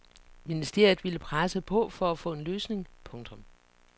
Ministeriet vil presse på for at få en løsning. punktum